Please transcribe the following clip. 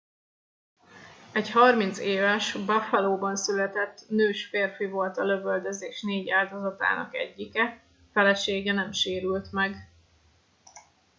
egy 30 éves buffalóban született nős férfi volt a lövöldözés 4 áldozatának egyike felesége nem sérült meg